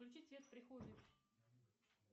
включить свет в прихожей